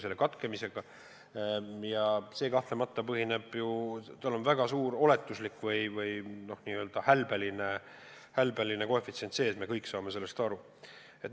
Selle katkemise prognoosimises on kahtlemata väga suur oletuslik või n-ö hälbeline koefitsient sees, me kõik saame sellest aru.